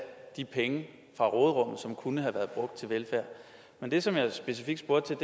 de penge fra råderummet som kunne have været brugt til velfærd men det som jeg specifikt spurgte